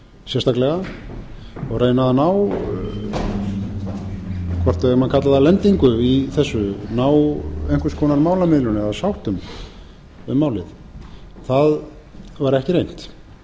sérstaklega og reyna að ná hvort við eigum að kalla það lendingu í þessu ná einhvers konar málamiðlun eða sáttum dám málið það var ekki reynt